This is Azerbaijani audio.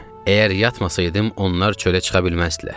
Əgər yatmasaydım onlar çölə çıxa bilməzdilər.